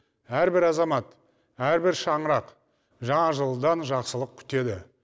әрбір азамат әрбір шаңырақ жаңа жылдан жақсылық күтеді